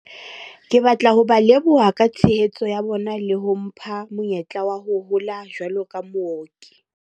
"Ke batla ho ba leboha ka tshehetso ya bona le ho mpha monyetla wa ho hola jwalo ka mooki."